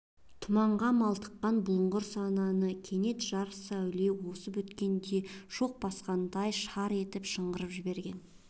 тұманға малтыққан бұлыңғыр санасын кенет жарық сәуле осып өткенде шоқ басқандай шар етіп шыңғырып жіберген